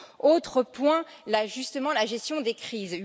Autre point justement la gestion des crises.